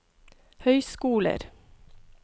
høyskoler